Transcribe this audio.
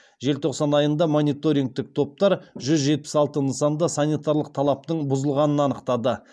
желтоқсан айында мониторингтік топтар жүз жетпіс алты нысанда санитарлық талаптың бұзылғанын анықтады